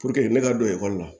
ne ka don ekɔli la